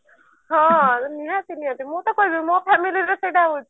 ହଁ ନିହାତି ନିହାତି ମୁଁ ତ କହିବି ମୋ family ରେ ସେଟା ହଉଛି